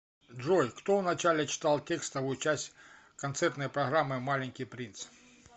джой кто вначале читал текстовую часть концертной программы маленький принц